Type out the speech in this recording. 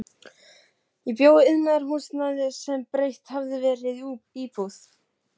Ég bjó í iðnaðarhúsnæði sem breytt hafði verið í íbúðir.